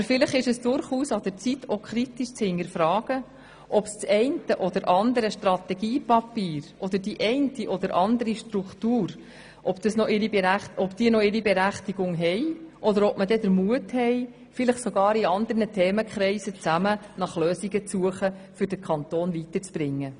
Aber vielleicht ist es an der Zeit, kritisch zu hinterfragen, ob das eine oder andere Strategiepapier und die eine oder andere Struktur noch berechtigt ist oder ob man den Mut hat, vielleicht sogar mit anderen Themenkreisen nach Lösungen zu suchen, um den Kanton weiterzubringen.